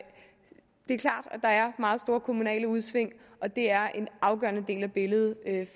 der er meget store kommunale udsving og det er en afgørende del af billedet